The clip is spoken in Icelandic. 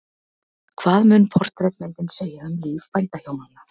Hvað mun portrettmyndin segja um líf bændahjónanna?